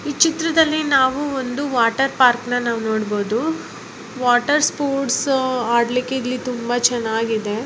ಈ ಚಿತ್ರದಲ್ಲಿ ನಾವು ಒಂದು ವಾಟರ್ ಪಾರ್ಕನ ನಾವ ನೊಡಬಹುದು ವಾಟರ್‌ ಸ್ಪೊರ್ಟ್ಸ ಆಡ್ಲಿಕೆ ಇಲ್ಲಿ ತುಂಬಾ ಚೆನ್ನಾಗಿದೆ .